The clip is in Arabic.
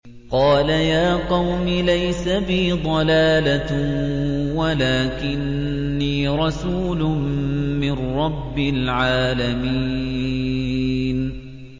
قَالَ يَا قَوْمِ لَيْسَ بِي ضَلَالَةٌ وَلَٰكِنِّي رَسُولٌ مِّن رَّبِّ الْعَالَمِينَ